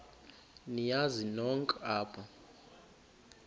niyazi nonk apha